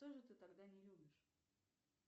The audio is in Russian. что же ты тогда не любишь